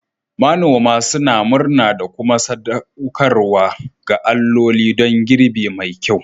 Manoman suna murna da kuma sadaukarwa ga alloli don girbi mai kyau.